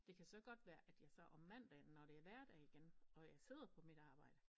Det kan så godt være at jeg så om mandagen når det er hverdag igen og jeg sidder på mit arbejde